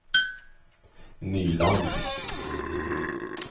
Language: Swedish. Nyland